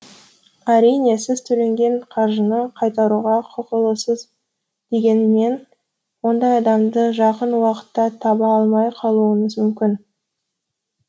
әрине сіз төленген қаржыны қайтаруға құқылысыз дегенмен ондай адамды жақын уақытта таба алмай қалуыңыз мүмкін